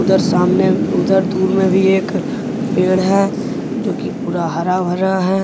उधर सामने उधर दूर में भी एक पेड़ है जो कि पूरा हरा भरा है।